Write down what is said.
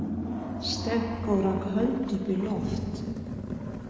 Stenko rak hönd upp í loft.